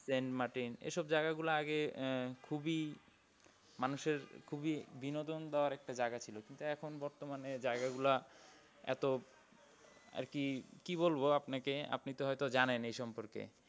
plane মার্টিন এইসব জায়গাগুলা আগে আহ খুবই মানুষ এর খুব বিনোদন দেওয়ার জায়গা ছিল কিন্তু এখন বর্তমানে জায়গা গুলা এতো আর কি কি বলবো আপনাকে আপনি তো হয় তো জানেন এই সম্পর্কে